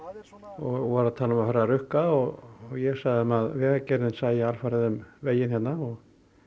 og tala um að fara að rukka og ég sagði þeim að Vegagerðin sæi alfarið um veginn hérna og